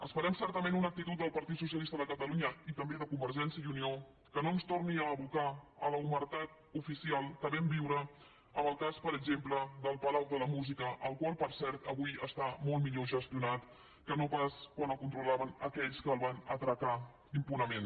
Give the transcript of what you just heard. esperem certament una actitud del partit socialista de catalunya i també de convergència i unió que no ens torni a abocar a l’omertat oficial que vam viure amb el cas per exemple del palau de la música el qual per cert avui està molt millor gestionat que no pas quan el controlaven aquells que el van atracar impunement